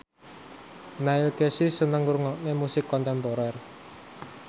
Neil Casey seneng ngrungokne musik kontemporer